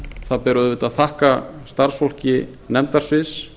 það ber auðvitað að þakka starfsfólki nefndasviðs